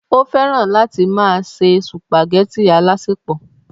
ó fẹ́ràn láti máa ṣe sùpàgẹ́tì alásèpọ̀